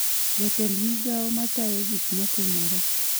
Jatend migao ma tayo gik ma timore